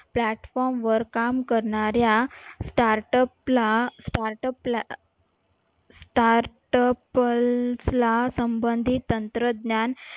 platform वर काम करणाऱ्या startup ला startup ला startup ला संबंधी तंत्रज्ञान